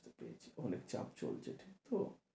বুঝছি, অনেক চাপ চলছে ঠিক তো?